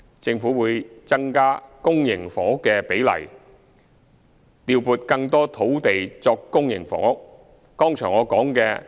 政府會增加公營房屋的比例，調撥更多土地作公營房屋。